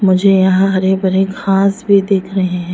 मुझे यहां हरे भरे घास भी दिख रहे हैं।